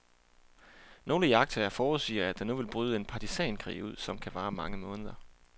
Nogle iagttagere forudsiger, at der nu vil bryde en partisankrig ud, som kan vare mange måneder.